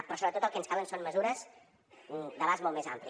però sobretot el que ens calen són mesures d’abast molt més ampli